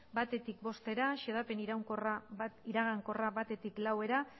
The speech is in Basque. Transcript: batetik bostera xedapen iragankorra batetik laura